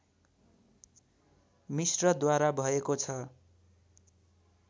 मिश्रद्वारा भएको छ